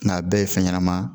Nga a bɛɛ ye fɛn ɲɛnama ye